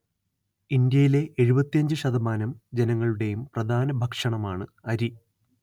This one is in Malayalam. ഇന്ത്യയിലെ എഴുപത്തിയഞ്ച് ശതമാനം ജനങ്ങളുടേയും പ്രധാന ഭക്ഷണമാണ്‌ അരി